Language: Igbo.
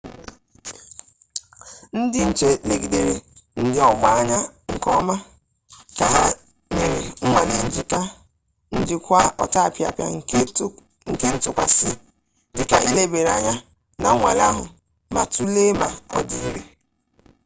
ndị nche legidere ndị ọgbaa anya nke ọma ka ha mere nnwale njikwa ọtapịapịa nke ntụkwasị dịka e lebara anya na nnwale ahụ ma tụlee ma ọ dị ire